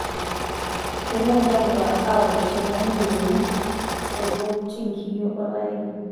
Keiteru ntapuka aaosh tenelioi olkulup tenkiyio olpayeki.